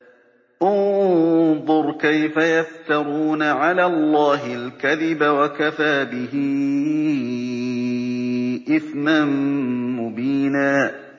انظُرْ كَيْفَ يَفْتَرُونَ عَلَى اللَّهِ الْكَذِبَ ۖ وَكَفَىٰ بِهِ إِثْمًا مُّبِينًا